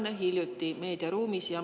Ja see on meil meediaruumis tavapärane.